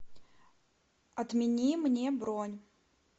отмени мне бронь